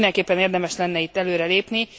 Mindenképpen érdemes lenne itt előrelépni.